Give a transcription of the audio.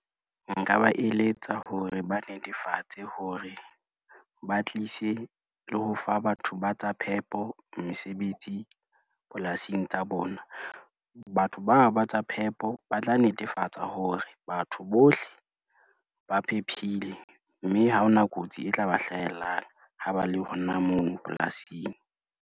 Nka ba eletsa hore ba netefatse hore, ba tlise le ho fa batho ba tsa phepo mesebetsi polasing tsa bona. Batho bao ba tsa phepo ba tla netefatsa hore batho bohle, ba phephile mme ha ona kotsi e tla ba hlahellang ha ba le hona mono polasing.